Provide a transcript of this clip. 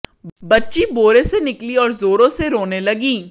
बच्ची बोरे से निकली और जोरों से रोने लगी